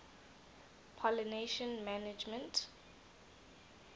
pollination management